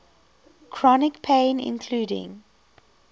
chronic pain including